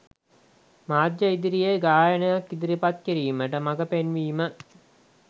මාධ්‍ය ඉදිරියේ ගායනයක් ඉදිරිපත් කිරීමට මගපෙන්වීම.